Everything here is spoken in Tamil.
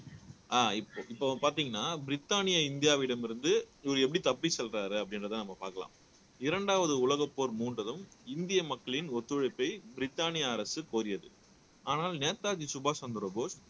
அஹ் இப்ப இப்ப பாத்தீங்கன்னா பிரிட்டானி இந்தியாவிடமிருந்து இவர் எப்படி தப்பி சொல்றாரு அப்படின்றதை நம்ம பாக்கலாம் இரண்டாவது உலகப்போர் மூண்டதும் இந்திய மக்களின் ஒத்துழைப்பை பிரிட்டானிய அரசு கோரியது ஆனால் நேதாஜி சுபாஷ் சந்திரபோஸ்